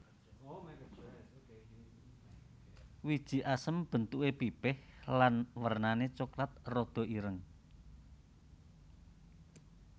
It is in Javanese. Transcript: Wiji asem bentuké pipih lan wernané coklat rada ireng